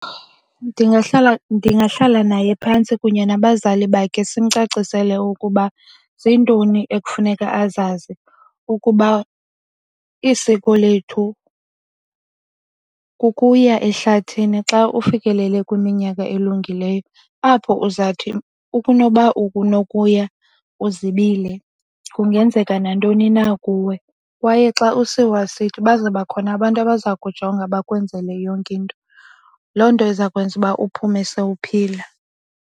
Ndingahlala naye phantsi kunye nabazali bakhe simcacisele ukuba zintoni ekufuneka azazi, ukuba isiko lethu kukuya ehlathini xa ufikelele kwiminyaka elungileyo. Apho uzawuthi ukunoba unokuya uzibile kungenzeka nantoni na kuwe. Kwaye xa usiwa sithi baza bakhona abantu abaza kujonga bakwenzele yonke into. Loo nto iza kwenza uba uphume sowuphila.